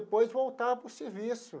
Depois voltava para o serviço.